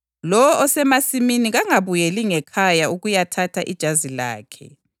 Lowo osemasimini kangabuyeli ngekhaya ukuyathatha ijazi lakhe.